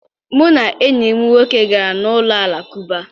Mụ na enyi m nwoke gara n'ụlọ Alakụba